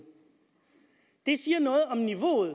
det siger noget om niveauet